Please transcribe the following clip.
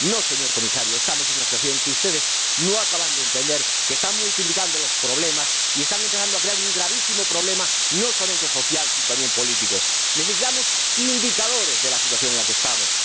No, señor Comisario, estamos en una situación que ustedes no acaban de entender, que están multiplicando los problemas y están empezando a crear un gravísimo problema no solamente social sino también político. Necesitamos indicadores de la situación en la que estamos